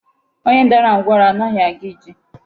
Onye dara ngwụrọ anaghị aga ije.